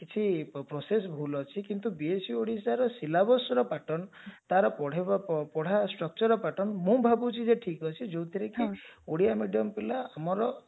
କିଛି process ଭୁଲ ଅଛି କିନ୍ତୁ B.Sc ଓଡିଶାର pattern ତାର ପଢେଇବା ପଢା structureର pattern ମୁଁ ଭାବୁଛି ଯେ ଠିକ ଅଛି ଯଉଥିରେ କି ଓଡିଆ medium ପିଲା ଆମର